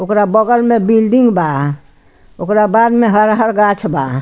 ओकरा बगल में बिल्डिंग बा । ओकरा बाद में हर हर गाछ बा ।